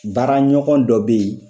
Baara ɲɔgɔn dɔ bɛ ye.